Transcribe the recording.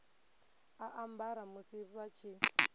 a ambara musi vha tshi